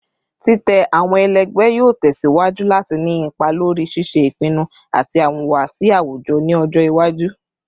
Titẹ awọn ẹlẹgbẹ yoo tẹsiwaju lati ni ipa lori ṣiṣe ipinnu ati awọn ihuwasi awujọ ni ọjọ iwaju